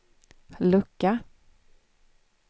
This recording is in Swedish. lucka